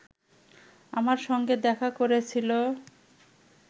আমার সঙ্গে দেখা করেছিল